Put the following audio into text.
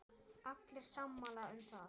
Allir sammála um það.